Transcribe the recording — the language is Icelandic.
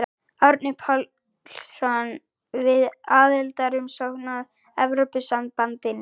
Árni Páll Árnason: Við aðildarumsókn að Evrópusambandinu?